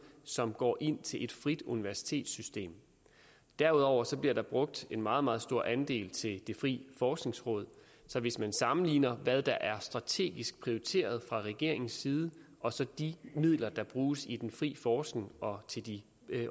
som går ind til et frit universitetssystem derudover bliver der brugt en meget meget stor andel til det frie forskningsråd så hvis man sammenligner hvad der er strategisk prioriteret fra regeringens side og så de midler der bruges i den frie forskning og til de